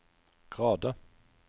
grader